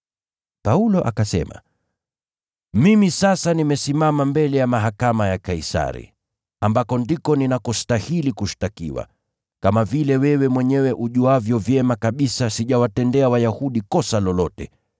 Paulo akasema, “Mimi sasa nimesimama mbele ya mahakama ya Kaisari, ambako ndiko ninakostahili kushtakiwa. Kama vile wewe mwenyewe ujuavyo vyema kabisa sijawatendea Wayahudi kosa lolote.